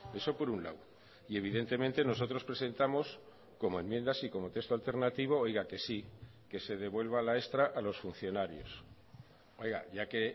eso por un lado y evidentemente nosotros presentamos como enmiendas y como texto alternativo oiga que sí que se devuelva la extra a los funcionarios oiga ya que